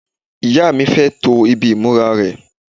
ìyá mi fẹ́ to ibi ìmúra rẹ̀